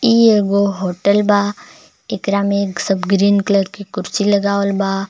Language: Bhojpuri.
इ एगो होटल बा इकरा में एक सब ग्रीन कलर के कुर्सी लगावल बा।